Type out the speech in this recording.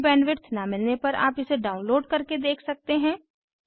अच्छी बैंडविड्थ न मिलने पर आप इसे डाउनलोड करके देख सकते हैं